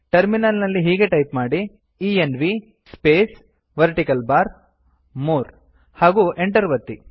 terminal ನಲ್ಲಿ ಹೀಗೆ type ಮಾಡಿ env space vertical bar | more ಹಾಗೂ enter ಒತ್ತಿ